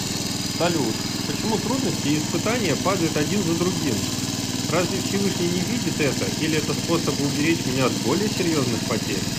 салют почему трудности и испытания падают один за другим разве всевышний не видит это или это способ уберечь меня от более серьезных потерь